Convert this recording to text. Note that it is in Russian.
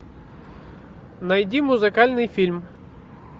найди музыкальный фильм